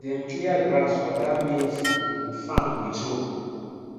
dem clear grass for that maize um farm with hoe